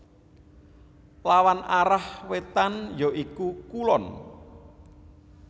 Lawan arah wétan ya iku kulon